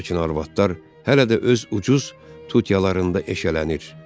Lakin arvadlar hələ də öz ucuz tutiyalarında eşələnir.